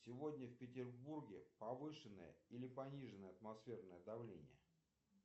сегодня в петербурге повышенное или пониженное атмосферное давление